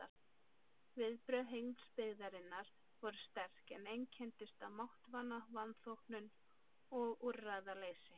Viðbrögð heimsbyggðarinnar voru sterk, en einkenndust af máttvana vanþóknun og úrræðaleysi.